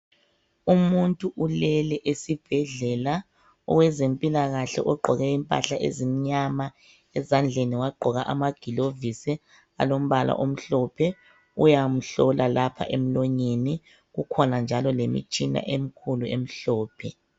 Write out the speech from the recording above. Umuntu ulele esibhedlela owezempilakahle ugqoke impahla ezimnyama ezandleni wagqoka amagilovisi alombala omhlophe uyamhlola lapha emlonyeni kukhona njalo lemitshina emikhulu emhlophe.